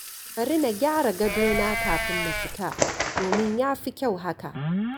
Bari na gyara gadona kafin na fita domin ya fi kyau haka.